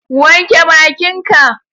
Wanke bakin ka